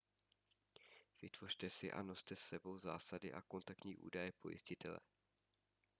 vytvořte si a noste s sebou zásady a kontaktní údaje pojistitele